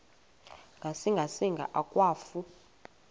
ngasinga singa akwafu